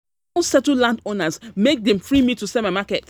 I don settle landowners make dem free me to sell my my market.